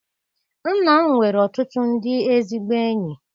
Nna m nwere ọtụtụ ndị ezigbo enyi.